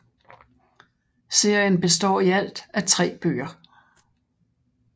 Serien består i alt af 3 bøger